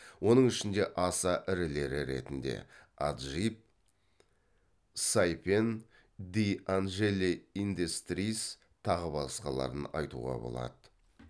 оның ішінде аса ірілері ретінде аджип сайпен ди анжели индейстриз тағы басқаларын айтуға болады